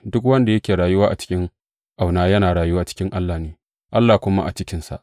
Duk wanda yake rayuwa cikin ƙauna, yana rayuwa a cikin Allah ne, Allah kuma a cikinsa.